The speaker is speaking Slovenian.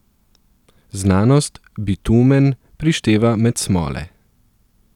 Znanost bitumen prišteva med smole.